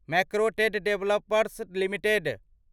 Macrotech developers limited